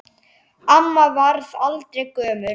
Amma varð aldrei gömul.